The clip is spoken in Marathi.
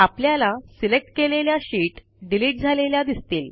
आपल्याला सिलेक्ट केलेल्या शीट डिलिट झालेल्या दिसतील